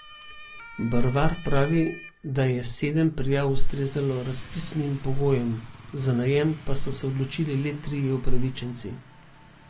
Brvar pravi, da je sedem prijav ustrezalo razpisnim pogojem, za najem pa so se odločili le trije upravičenci.